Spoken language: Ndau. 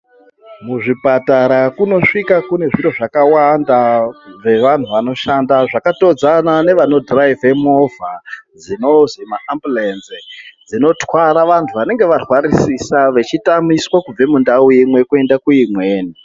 Mu zvipatara kuno svika kune zviro zvakawanda zve vanhu vanoshanda zvaka todza nevano dhiraivhe movha dzinozi ma ambulenzi dzino tara vantu vanenge varwarisisa vechi tamiswa kubve mu ndau imwe kuenda ku imweni.